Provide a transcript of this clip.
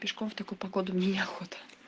пешком в такую погоду мне не охота